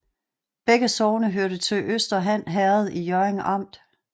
Begge sogne hørte til Øster Han Herred i Hjørring Amt